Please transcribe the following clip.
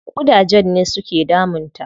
Ƙudajen ne su ke damun ta.